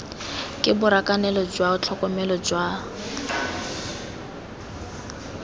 ke borakanelo jwa tlhokomelo jwa